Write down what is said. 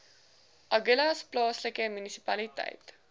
agulhas plaaslike munisipaliteit